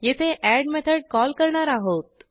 येथे add method call करणार आहोत